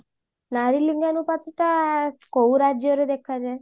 ନାରୀନିଙ୍ଗନୁପାତ ଟା କୋଉ ରାଜ୍ୟ ରେ ଦେଖା ଯାଏ